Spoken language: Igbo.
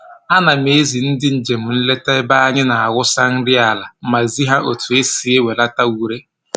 A na m ezi ndị njem nleta ebe anyị na-awụsa nri ala ma zi ha otu anyị si ewelata ure